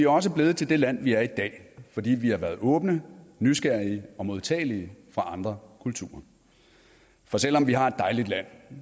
også blevet til det land vi er i dag fordi vi har været åbne nysgerrige og modtagelige for andre kulturer for selv om vi har et dejligt land